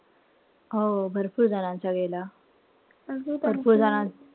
हो भरपूर जणांचा गेला. भरपूर जणांचा,